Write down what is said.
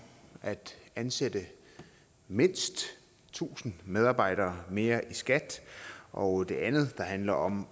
at ansætte mindst tusind medarbejdere mere i skat og det andet handler om